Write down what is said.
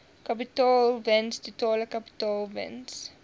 kapitaalwins totale kapitaalwins